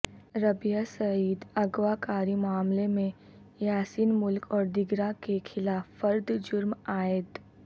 ربیہ سعید اغواکاری معاملے میں یاسین ملک اور دیگراں کے خلاف فرد جرم عائد